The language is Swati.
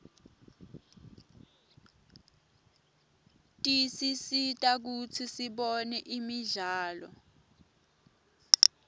tisisita kutsi sibone imidlalo